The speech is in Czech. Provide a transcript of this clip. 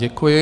Děkuji.